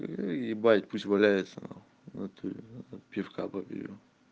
ну и ебать пусть валяется нахуй внатуре ээ пивка попью